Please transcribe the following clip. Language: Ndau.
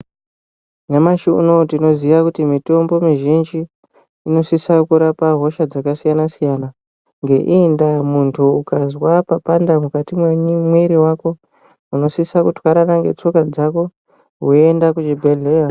Nyamashi unowu tinoziya kuti mitombo mizhinji unosisa kurapa hosha dzakasiyana siyana. Ngeiyi ndaa muntu ukazwa papanda mukati memwiri wako unosisa kuti kutwarana netsoka dzako woenda kuchibhedhleya.